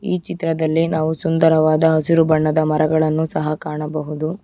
ಈ ಚಿತ್ರದಲ್ಲಿ ನಾವು ಸುಂದರವಾದ ಹಸಿರು ಬಣ್ಣದ ಮರಗಳನ್ನು ಸಹ ಕಾಣಬಹುದು.